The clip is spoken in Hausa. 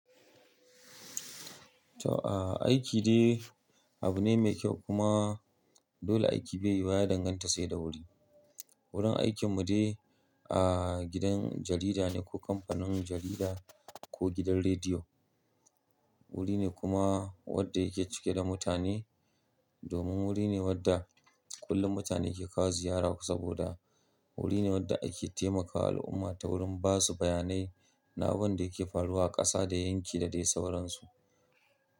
Aiki dai abu ne mai kyau kuma dole aiki bai yi wuwa ya danganta sai da wuri. Wurin aikin mu dai a gidan jarida ne ko kamfanin jarida ko gidan rediyo. Wuri ne kuma wanda yake cike da mutane domin wuri ne wanda kullum mutane ke kawo ziyara saboda wuri ne wanda ake taimakawa al'umma ta wurin ba su bayanai na abin da yake faruwa a ƙasa da yanki da dai sauran su.